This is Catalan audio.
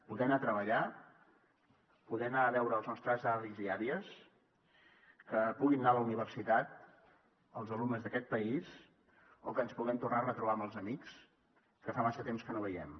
poder anar a treballar poder anar a veure els nostres avis i àvies que puguin anar a la universitat els alumnes d’aquest país o que ens puguem tornar a retrobar amb els amics que fa massa temps que no veiem